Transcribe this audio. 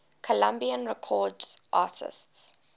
columbia records artists